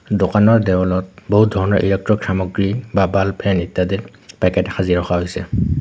দোকানৰ দেউলত বহুত ধৰণৰ ইলেকট্ৰিক সামগ্ৰী বা বাল্ব ফেন ইত্যাদি পেকেট সাজি ৰখা হৈছে।